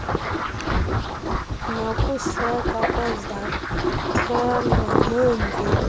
nokusekwa kwezakhelo neemveliso